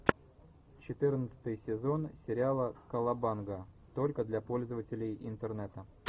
четырнадцатый сезон сериала колобанга только для пользователей интернета